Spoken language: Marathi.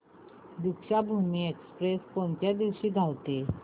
दीक्षाभूमी एक्स्प्रेस कोणत्या दिवशी धावते